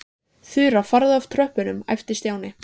Þura, farðu frá tröppunum æpti Stjáni.